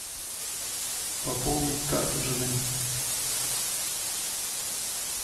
пополнить карту жены